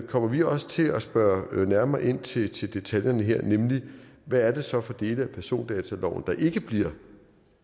kommer vi også til at spørge nærmere ind til til detaljerne her nemlig hvad det så er for dele af persondataloven der ikke bliver